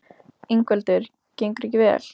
Ingveldur: Gengur ekki vel?